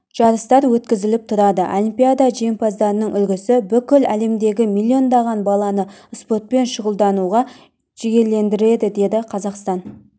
жарыстар өткізіліп тұрады олимпиада жеңімпаздарының үлгісі бүкіл әлемдегі миллиондаған баланы спортпен шұғылдануға жігерлендіреді деді қазақстан